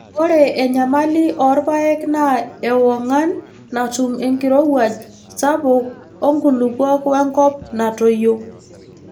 Ore enyamali oo irpaek naa ewongan natum enkirowuaj sapuk oonkulupuok wenkop natoyio.